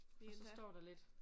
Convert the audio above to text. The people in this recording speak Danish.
Og så står der lidt